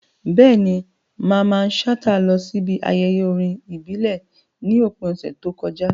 Bẹ́ẹ̀ni, Mamman Shata lọ síbi ayẹyẹ orin ìbílẹ̀ ní òpin ọ̀sẹ̀ tó kọjá.